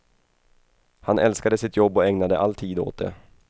Han älskade sitt jobb och ägnade all tid åt det.